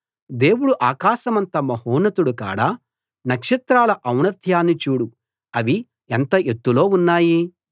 దేవుడు ఆకాశమంత మహోన్నతుడు కాడా నక్షత్రాల ఔన్నత్యాన్ని చూడు అవి ఎంత ఎత్తులో ఉన్నాయి